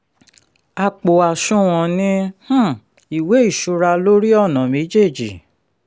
àpò àṣùwọ̀n ní um ìwé ìṣura lórí ọ̀nà méjèèjì.